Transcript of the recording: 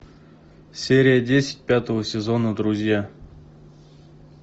серия десять пятого сезона друзья